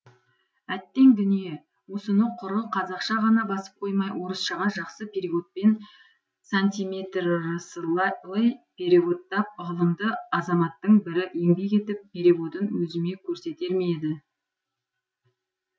әттең дүние осыны құры қазақша ғана басып қоймай орысшаға жақсы переводпен сантиметрыслый переводтап ғылымды азаматтың бірі еңбек етіп переводын өзіме көрсетер ме еді